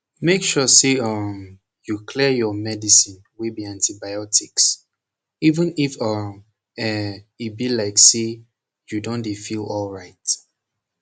make sure say um you clear your medicine wey be antibiotics even if um eh e be like say u don dey feel alright